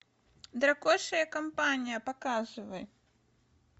дракоша и компания показывай